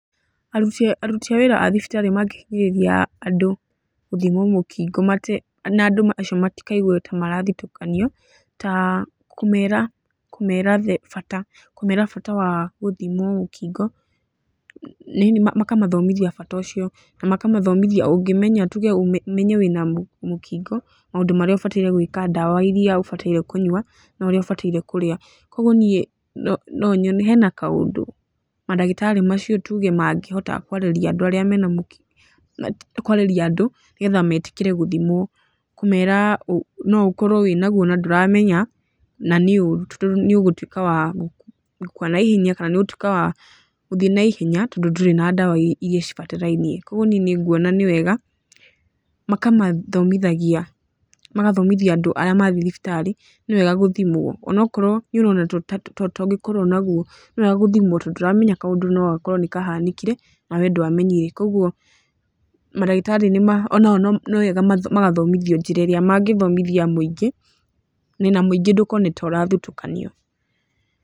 Aruti a aruti a wĩra a thibitarĩ mangĩhinyĩrĩria andũ gũthimwo mũkingo na andũ acio matikaigue ta marathutũkanio ta kũmera kũmera the bata kũmera bata wa gũthimwo mũkingo. Makamathomithia bata ũcio, na makamathomithia ũngĩmenya tuge ũmenye wĩna mũkingo, maũndũ marĩa ũbataire gwĩka, ndawa irĩa ũbataire kũnyua, na ũrĩa ũbataire kũrĩa. Kũguo niĩ no nyone, hena kaũndũ mandagĩtarĩ macio tuge mangĩhota kwarĩria andũ arĩa mena mũkingo, kwarĩria andũ nĩgethe metĩkĩre gũthimwo. Kũmera no ũkorwo wĩnaguo na ndũramenya, na nĩ ũũru to nĩ ũgũtuĩka wa gũkua naihenya kana nĩ ũgũtuĩka wa gũthiĩ naihenya tondũ ndũrĩ na ndawa irĩa cibatarainie. Kũguo niĩ nĩ nguona nĩ wega makamathomithagia, magathomithia andũ arĩa mathiĩ thibitarĩ nĩ wega gũthimwo. Onokorwo nĩ ũrona to ũngĩkorwo naguo, nĩwega gũthimwo tondũ ndũramenya kaũndũ no gakorwo nĩ kahanĩkire, na we ndwamenyire. Kũguo mandagĩtarĩ ona o nĩ wega magathomithio njĩra ĩrĩa mangĩthomithia mũingĩ, na mũingĩ ndũkona ta ũrathutũkanio.